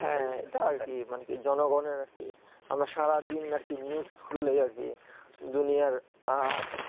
হ্যাঁ তাই আর কি জনগণ কি সারাদিন আরকি news খুললে আর কি দুনিয়ার আঃ